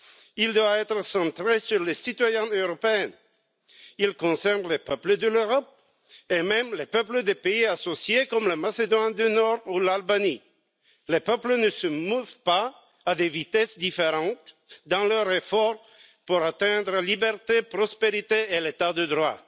Il doit être centré sur les citoyens européens, il concerne les peuples de l'Europe et même les peuples des pays associés comme la Macédoine du Nord ou l'Albanie. Les peuples ne se meuvent pas à des vitesses différentes dans leur effort d'atteindre la liberté, la prospérité et l'état de droit.